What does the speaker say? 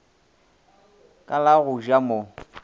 ka la go ja mo